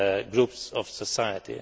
groups of society.